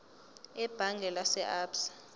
ebhange lase absa